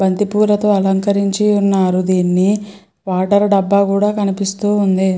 బంతిపూలతో అలంకరించి ఉన్నారు దీన్ని వాటర్ డబ్బా కూడా కనిపిస్తోంది.